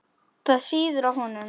Það sýður á honum.